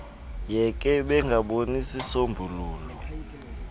yeke bengaboni sisombululo